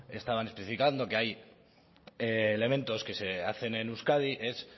estaban especificando que hay elementos que se hacen en euskadi es